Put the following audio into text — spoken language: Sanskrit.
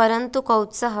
परन्तु कौत्सः